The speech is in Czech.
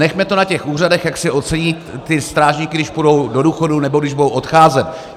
Nechme to na těch úřadech, jak si ocení ty strážníky, když půjdou do důchodu nebo když budou odcházet.